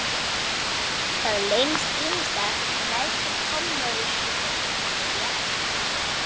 Það leynist ýmislegt í neðstu kommóðuskúffunni, já.